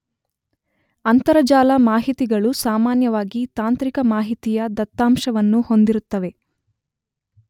ಅಂತರಜಾಲ ಮಾಹಿತಿಗಳು ಸಾಮಾನ್ಯವಾಗಿ ತಾಂತ್ರಿಕ ಮಾಹಿತಿಯ ದತ್ತಾಂಶವನ್ನು ಹೊಂದಿರುತ್ತವೆ.